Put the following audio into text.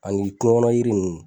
Ani kungo kɔnɔ jiri ninnu.